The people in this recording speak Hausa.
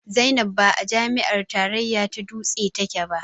Zainab ba a jami'ar tarayya ta dutse take ba